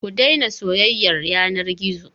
Ki daina soyayyar yanar gizo.